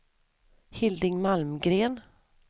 Hilding Malmgren